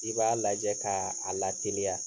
I b'a lajɛ kaa a lateliya